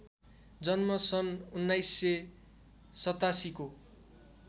जन्म सन् १९८७ को